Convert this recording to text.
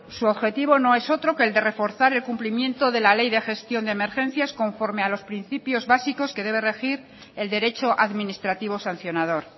su objetivo no es otro que el de reforzar el cumplimiento de la ley de gestión de emergencias conforme a los principios básicos que debe regir el derecho administrativo sancionador